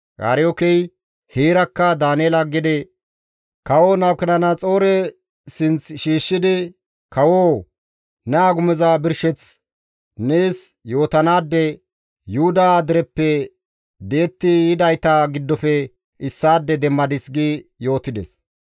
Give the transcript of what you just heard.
Aryookey heerakka Daaneela gede kawo Nabukedenaxoore sinththi shiishshidi, «Kawoo! Ne agumoza birsheth nees yootanaade Yuhuda dereppe di7etti yidayta giddofe issaade demmadis» gi yootides.